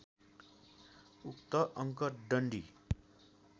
उक्त अङ्क डन्डी